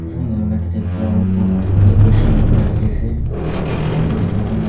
aru inai huina tate flower pot decoration rukina rakhi ase opor teh celling .